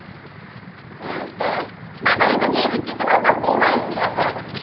ଇଁ ତ ବାବା ଙ୍କୁ ପଚାରି ତୋ ବାବା କୋଉଠୁ ଆଣିଥିଲେ ଅସବାପତ୍ର